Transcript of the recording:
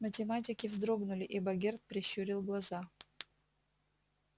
математики вздрогнули и богерт прищурил глаза